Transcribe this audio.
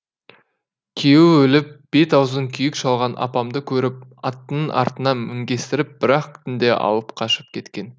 күйеуі өліп бет аузын күйік шалған апамды көріп атының артына мінгестіріп бір ақ түнде алып қашып кеткен